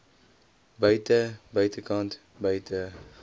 buite buitekant buite